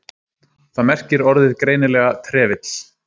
Þar merkir orðið greinilega trefill.